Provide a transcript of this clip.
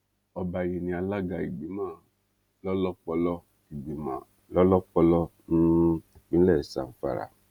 ọba yìí ní alága ìgbìmọ lọlọpọlọ ìgbìmọ lọlọpọlọ um ìpínlẹ zamfara